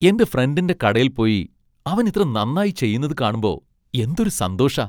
എന്റെ ഫ്രണ്ടിന്റെ കടയിൽ പോയി അവൻ ഇത്ര നന്നായി ചെയ്യുന്നത് കാണുമ്പോ എന്തൊരു സന്തോഷാ .